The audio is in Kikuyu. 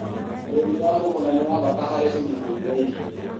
ũrĩmi wa mũgũnda nĩ wa bata harĩ ũgitĩri wa irio